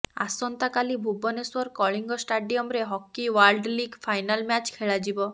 ଆସନ୍ତା କାଲି ଭୁବନେଶ୍ୱର କଳିଙ୍ଗ ଷ୍ଟାଡିୟମରେ hockey world league final match ଖେଳାଯିବ